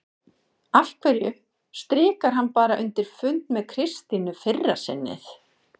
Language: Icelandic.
Af hverju strikar hann bara undir fund með Kristínu fyrra sinnið?